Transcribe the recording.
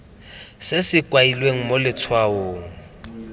se se kailweng mo letshwaong